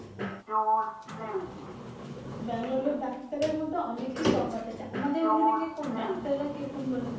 Bengaluru doctor এর মাঝে অনেকই তফাত আছে। আমাদের ওখানে কি রকম doctor রা কি রকম বলেন।